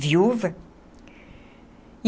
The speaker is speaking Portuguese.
Viúva.